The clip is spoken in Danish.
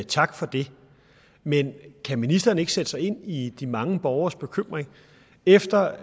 tak for det men kan ministeren ikke sætte sig ind i de mange borgeres bekymring efter